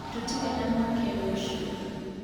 Tũtirĩ na mĩeke rũciũ